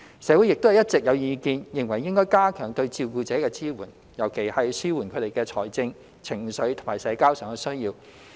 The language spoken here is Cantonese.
社會亦一直有意見認為應加強對照顧者的支援，尤其要紓緩他們在財政、情緒和社交上的需要。